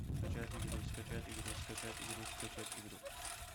скачать игру скачать игру скачать игру скачать игру